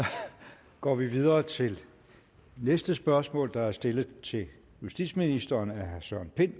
går vi videre til næste spørgsmål der er stillet til justitsministeren af herre søren pind